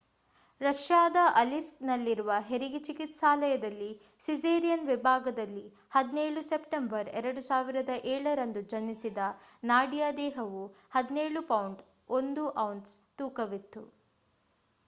ರಷ್ಯಾದ ಅಲಿಸ್ಕ್‌ನಲ್ಲಿರುವ ಹೆರಿಗೆ ಚಿಕಿತ್ಸಾಲಯದಲ್ಲಿ ಸಿಸೇರಿಯನ್ ವಿಭಾಗದಲ್ಲಿ 17 ಸೆಪ್ಟೆಂಬರ್ 2007 ರಂದು ಜನಿಸಿದ ನಾಡಿಯಾ ದೇಹವು 17 ಪೌಂಡ್ 1 ಔನ್ಸ್ ತೂಕವಿತ್ತು